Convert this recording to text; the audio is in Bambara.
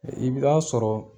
I bɛ ta sɔrɔ.